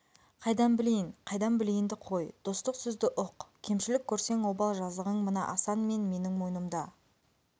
қайдан білейін айдан білейінді қой достық сөзді ұқ кемшілік көрсең обал-жазығың мына асан мен менің мойнымда